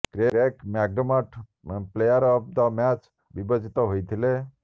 Craig McDermott player of the match ବିବେଚିତ ହୋଇଥିଲେ